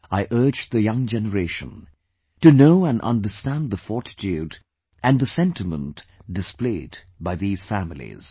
I urge the young generation to know and understand the fortitude and the sentiment displayed by these families